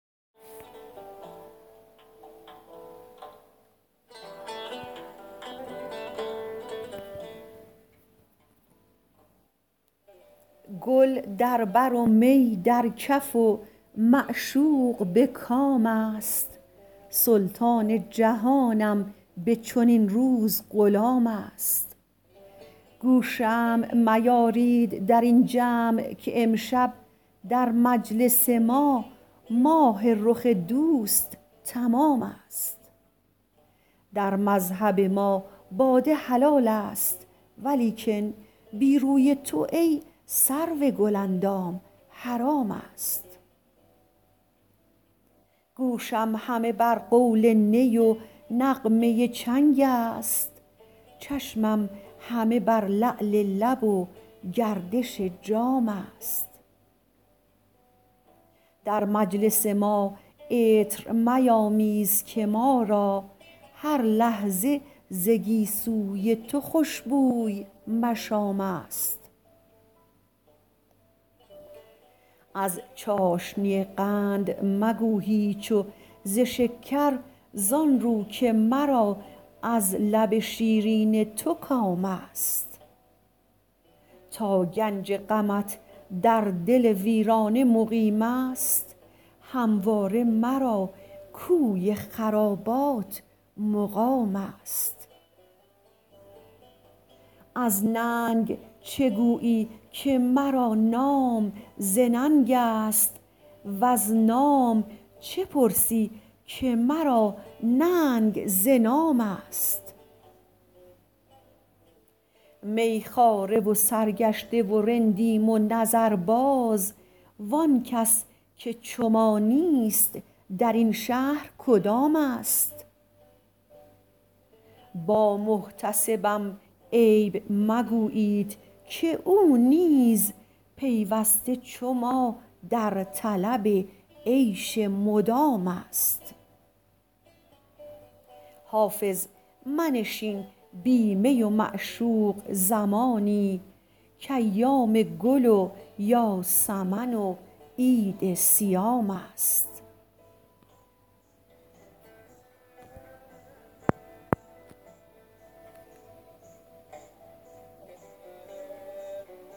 گل در بر و می در کف و معشوق به کام است سلطان جهانم به چنین روز غلام است گو شمع میارید در این جمع که امشب در مجلس ما ماه رخ دوست تمام است در مذهب ما باده حلال است ولیکن بی روی تو ای سرو گل اندام حرام است گوشم همه بر قول نی و نغمه چنگ است چشمم همه بر لعل لب و گردش جام است در مجلس ما عطر میامیز که ما را هر لحظه ز گیسو ی تو خوش بوی مشام است از چاشنی قند مگو هیچ و ز شکر زآن رو که مرا از لب شیرین تو کام است تا گنج غمت در دل ویرانه مقیم است همواره مرا کوی خرابات مقام است از ننگ چه گویی که مرا نام ز ننگ است وز نام چه پرسی که مرا ننگ ز نام است می خواره و سرگشته و رندیم و نظرباز وآن کس که چو ما نیست در این شهر کدام است با محتسبم عیب مگویید که او نیز پیوسته چو ما در طلب عیش مدام است حافظ منشین بی می و معشوق زمانی کایام گل و یاسمن و عید صیام است